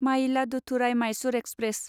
Mayiladuthurai Mysore express